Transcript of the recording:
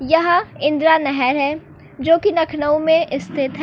यहां इंदिरा नहर है जो कि लखनऊ में स्थित है।